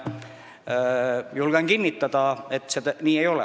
Julgen kinnitada, et nii see ei ole.